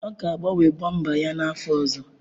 Ọ ga-agbanwe bọmba ya n'afọ ọzọ.